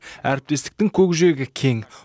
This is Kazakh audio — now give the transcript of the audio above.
әріптестіктің көкжиегі кең